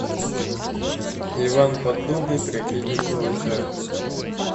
иван поддубный трагедия силача